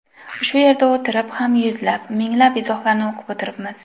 Shu yerda o‘tirib ham yuzlab, minglab izohlarni o‘qib o‘tiribmiz.